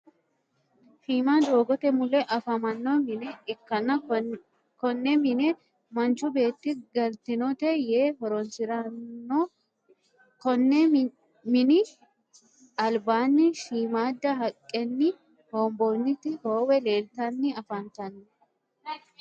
Shiima doogote mulle afamano minne ikanna konne minne manchu beetti galitinote yee horonsirano konni minni alibaani shiimada haqqenni honbooniti hoowe lelitanni afanitanno.